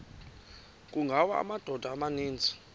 kungawa amadoda amaninzi